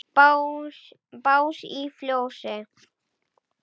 Bás í fjósi?